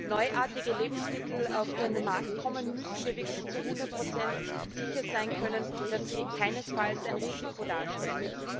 Wenn neuartige Lebensmittel auf den Markt kommen, müssen wir wirklich zu 100 sicher sein können, dass sie keinesfalls ein Risiko darstellen.